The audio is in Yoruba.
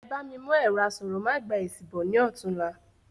Ebá mi mú ẹ̀rọ asọ̀rọ̀ ma gba èsì bọ̀ ní ọ̀túla